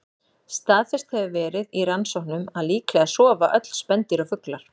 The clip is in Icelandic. Staðfest hefur verið í rannsóknum að líklega sofa öll spendýr og fuglar.